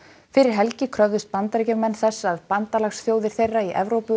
fyrir helgi kröfðust Bandaríkjamenn þess að bandalagsþjóðir þeirra í Evrópu